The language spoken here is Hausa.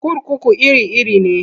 Kurkuku iri-iri ne.